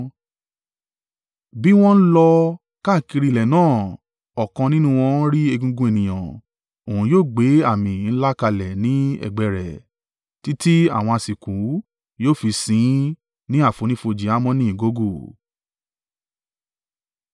Bí wọ́n n lọ káàkiri ilẹ̀ náà ọ̀kan nínú wọn rí egungun ènìyàn, òun yóò gbé àmì ńlá kalẹ̀ ni ẹ̀gbẹ́ rẹ títí àwọn asìnkú yóò fi sìn ín ní àfonífojì Hamoni Gogu.